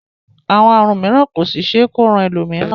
Àwọn àrùn mìíràn kò sì ṣe é kó ran ẹlòmíràn